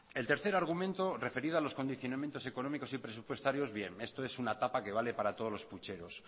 el tercer argumento referido a los condicionamientos económicos y presupuestarios esto es una tapa que vale para todos los pucheros